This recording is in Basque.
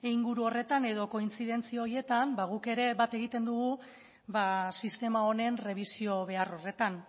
inguru horretan edo kointzidentzia horietan guk ere bat egiten dugu sistema honen errebisio behar horretan